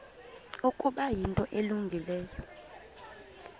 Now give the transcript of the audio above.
ukuba yinto elungileyo